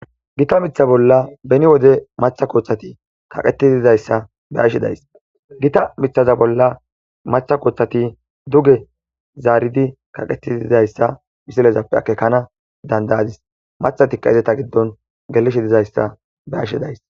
gita mitha bolla beni wode matha kooththati kaqeti dizayssa be7ashe days. gita mithaza bolla matha koothati duge zaaridi kaqeti dizayssa misilezappe akekana dandayadis. mathatika izeta giddon gelishe dizayssa be7ashe days.